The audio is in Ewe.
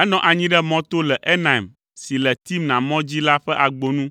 Enɔ anyi ɖe mɔ to le Enaim si le Timna mɔ dzi la ƒe agbo nu.